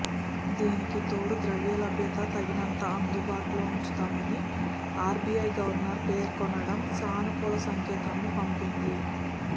దీనికి తోడు ద్రవ్యలభ్యత తగినంత అందుబాటులో ఉంచుతామని ఆర్బీఐ గవర్నర్ పేర్కొనడం సానుకూల సంకేతాలను పంపింది